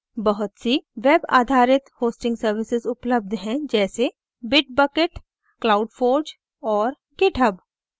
बहुत based web आधारित hosting services उपलब्ध हैं जैसे bitbucket cloudforge और github